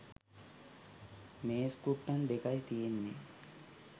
මේස් කුට්ටං දෙකයි තියෙන්නේ